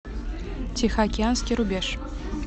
тихоокеанский рубеж